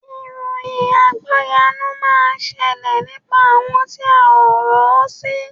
Ìròyìn àgbọ́yanu máa ṣẹlẹ̀ nípa àwọn tí a ò rò sí